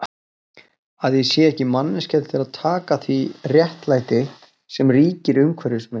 Að ég sé ekki manneskja til að taka því réttlæti sem ríkir umhverfis mig?